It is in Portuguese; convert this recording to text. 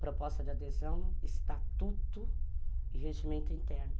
Proposta de adesão, estatuto e regimento interno.